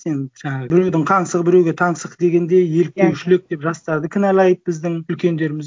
сен жаңағы біреудің қаңсығы біреуге таңсық дегендей еліктеушілік деп жастарды кінәлайды біздің үлкендеріміз